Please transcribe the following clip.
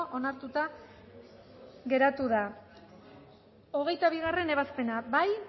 onartuta geratu da hogeita bigarrena ebazpena bozkatu